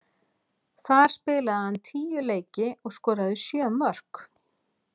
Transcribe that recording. Þar spilaði hann tíu leiki og skoraði sjö mörk.